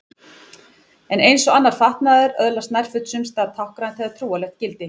En eins og annar fatnaður öðlast nærföt sums staðar táknrænt eða trúarlegt gildi.